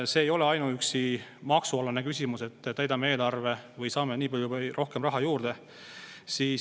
See ei ole ainuüksi maksualane küsimus, et täidame eelarve või saame nii palju rohkem raha juurde.